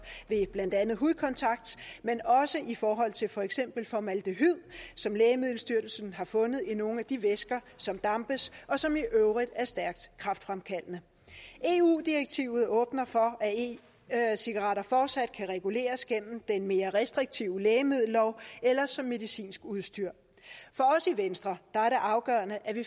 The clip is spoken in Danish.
ved blandt andet hudkontakt men også i forhold til for eksempel formaldehyd som lægemiddelstyrelsen har fundet i nogle af de væsker som dampes og som i øvrigt er stærkt kræftfremkaldende eu direktivet åbner for at e cigaretter fortsat kan reguleres gennem den mere restriktive lægemiddellov eller som medicinsk udstyr for os i venstre er det afgørende at vi